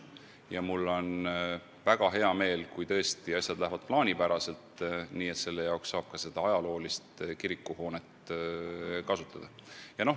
Ja mul on väga hea meel, kui tõesti asjad lähevad plaanipäraselt ja selleks saab ka seda ajaloolist kirikuhoonet kasutada.